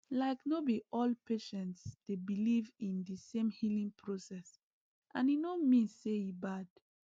like no be all patients dey believe in the same healing process and e no mean say e bad